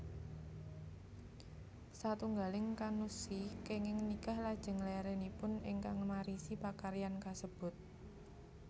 Satunggaling kannushi kenging nikah lajeng larenipun ingkang marisi pakaryan kasebut